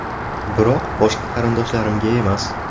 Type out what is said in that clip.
Biroq boshqa qarindoshlarimga emas.